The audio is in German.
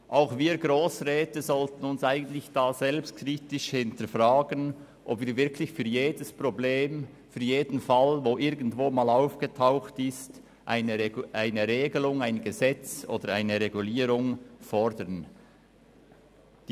Auch wir Grossräte sollten uns selbstkritisch hinterfragen, ob wir wirklich für jedes Problem und für jeden irgendwo aufgetauchten Fall eine Regelung, ein Gesetz oder eine Regulierung fordern sollten.